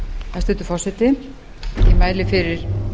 hæstvirtur forseti ég mæli fyrir